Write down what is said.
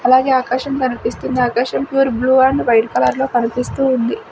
అలాగే ఆకాశం కనిపిస్తుంది ఆకాశం pure blue and white colour లో కనిపిస్తూ ఉంది.